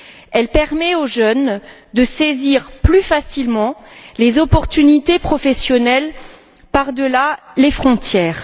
Elle permet aux jeunes de saisir plus facilement les perspectives professionnelles par delà les frontières.